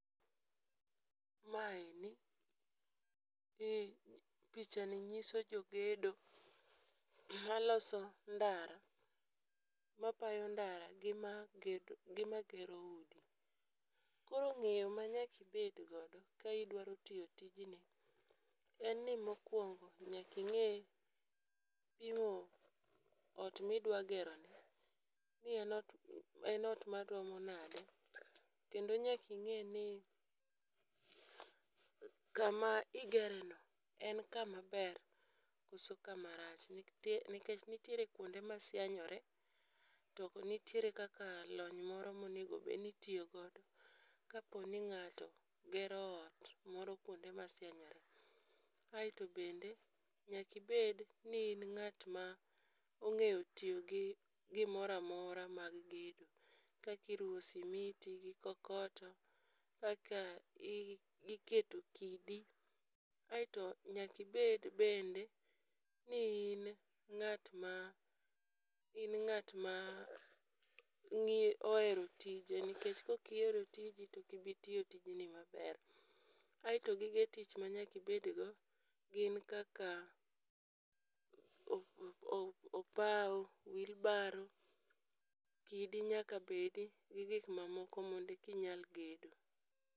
Maeni e picha ni nyiso jogedo maloso ndara mapayo ndara gi maged gi ma gero udi. Koro ng'eyo ma nyaki bed godo ka idwaro tiyo tijni en ni mokwongo nyaki ng'e pimo ot midwa gero ni ni en ot en ot maromo nade, kendo nyaki ng'e ni kama igere no en kama ber koso kama rach . Nikech nitiere kuonde masianyore to nitiere kaka lony moro monego bed ni itiyo godo kapo ni ng'ato gero ot moro kuonde masienyore. Aeto bende nyaki bed ni in ng'at ma ong'eyo tiyo gi gimoramora mag gedo kaki ruwo simiti gi kokoto, kaka i iketo kidi. Aeto nyaki bed bende ni in e ng'at ma in ng'at ma ng'i ohero tije nikech kokihero tijni tokibi tiyo tijni maber. aeto gige tich ma nyaki bed go gin kaka o o o pawo, wheelbarow ,kidi nyaka bedi gi gik mamoko monde ki nyal gedo.